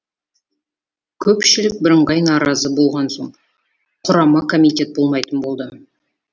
көпшілік бірыңғай наразы болған соң құрама комитет болмайтын болды